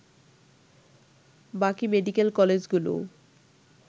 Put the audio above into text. বাকি মেডিকেল কলেজগুলোও